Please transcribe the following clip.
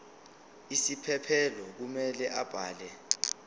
isiphephelo kumele abhale